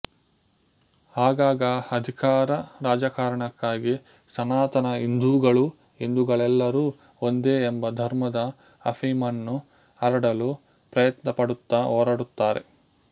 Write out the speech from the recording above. ಆಗಾಗ ಅಧಿಕಾರ ರಾಜಕಾರಣಕ್ಕಾಗಿ ಸನಾತನ ಹಿಂದೂಗಳು ಹಿಂದೂಗಳೆಲ್ಲರೂ ಒಂದೇ ಎಂಬ ಧರ್ಮದ ಅಪೀಮನ್ನು ಹರಡಲು ಪ್ರಯತ್ನ ಪಡುತ್ತಾ ಹೋರಾಡುತ್ತಾರೆ